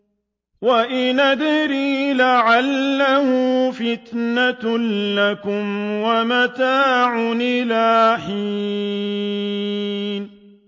وَإِنْ أَدْرِي لَعَلَّهُ فِتْنَةٌ لَّكُمْ وَمَتَاعٌ إِلَىٰ حِينٍ